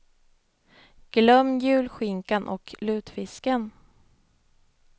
Glöm julskinkan och lutfisken.